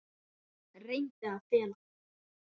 Reyndi að fela það.